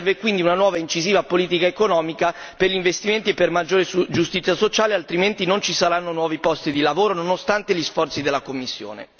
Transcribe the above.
Serve quindi una nuova incisiva politica economica per gli investimenti e per una maggiore giustizia sociale, altrimenti non ci saranno nuovi posti di lavoro nonostante gli sforzi della Commissione.